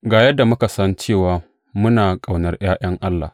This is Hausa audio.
Ga yadda muka san cewa muna ƙaunar ’ya’yan Allah.